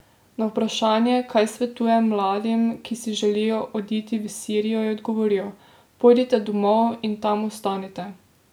Na vprašanje, kaj svetuje mladim, ki si želijo oditi v Sirijo, je odgovoril: "Pojdite domov in tam ostanite.